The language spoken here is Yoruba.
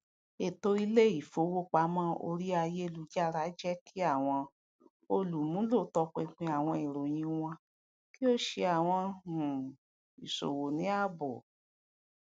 eto ile ifowopamọ ori ayelujara jẹ ki awọn olumulo tọpinpin awọn iroyin wọn ki o ṣe awọn um iṣowo ni aabo